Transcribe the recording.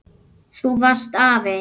Þú varst afi.